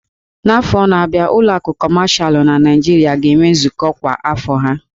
N'afọ na-abịa, ụlọ akụ kọmashal na Nigeria ga-enwe nzukọ kwa afọ ha